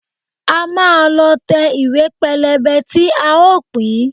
A máa lọ tẹ ìwé pélébé tí a ó pín